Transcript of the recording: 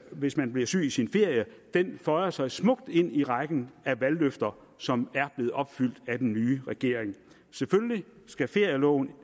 hvis man bliver syg i sin ferie føjer sig smukt ind i rækken af valgløfter som er blevet opfyldt af den nye regering selvfølgelig skal ferieloven